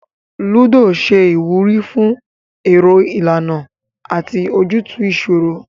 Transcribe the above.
Lúdò ṣe ìwúrí fún èrò ìlànà àti ojútùú ìṣòro